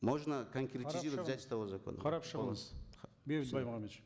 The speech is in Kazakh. можно конкретизировать взять с того закона қарап шығыңыз бейбіт баймағамбетович